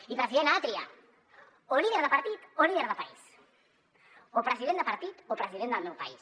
i president ha de triar o líder de partit o líder de país o president de partit o president del meu país